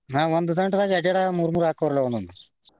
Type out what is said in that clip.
ಹ ಒಂದ ದಂಟದಾಗ ಎರ್ಡ್ ಎರ್ಡ್ ಮೂರ ಮೂರ್ ಆಕ್ಕವ್ರಲ್ಲ ಒಂದೊಂದ್.